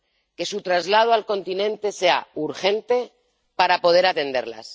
Que su traslado al continente sea urgente, para poder atenderlas.